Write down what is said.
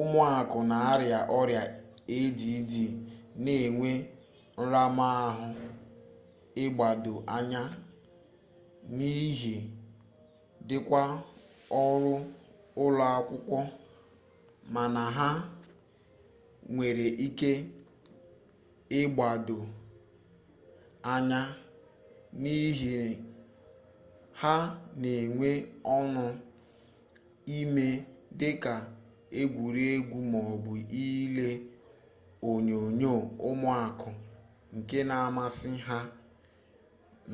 ụmụaka n'arịa ọrịa add na-enwe nramahụ ịgbado anya n'ihe dịka ọrụ ụlọakwụkwọ mana ha nwere ike ịgbado anya n'ihe ha n'enwe ọñụ ime dịka egwuregwu m'ọbụ ile onyonyo ụmụaka nke na-amasị ha